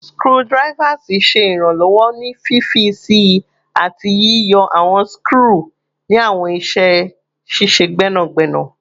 Screwdrivers ṣe iranlọwọ ni fifi sii ati yiyọ awọn skru ni awọn iṣẹ ṣiṣe gbẹnagbẹna